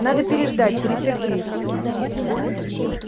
надо переждать перетерпеть